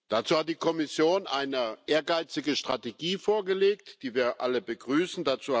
Dazu hat die Kommission eine ehrgeizige Strategie vorgelegt, die wir alle begrüßen.